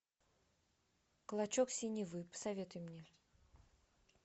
клочок синевы посоветуй мне